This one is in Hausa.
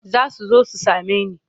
Za su zo su same ni.